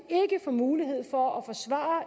få mulighed for at forsvare